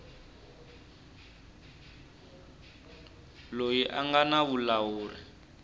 loyi a nga na vulawuri